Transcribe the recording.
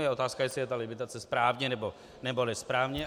Je otázka, jestli je ta limitace správně, nebo nesprávně.